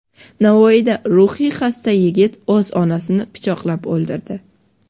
Navoiyda ruhiy xasta yigit o‘z onasini pichoqlab o‘ldirdi.